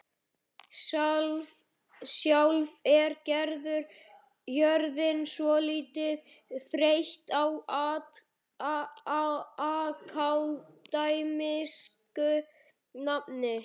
Sjálf er Gerður orðin svolítið þreytt á akademísku námi.